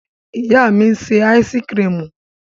Ìyá mi ń ṣe áísíkrimù.